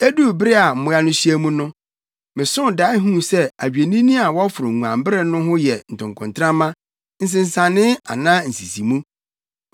“Eduu bere a mmoa no hyia mu no, mesoo dae huu sɛ adwennini a wɔforo nguanbere no ho yɛ ntokontrama, nsensanee anaa nsisimu.